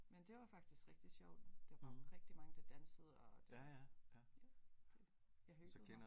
Men det var faktisk rigtig sjovt der var rigtig mange der dansede og det ja det jeg hyggede mig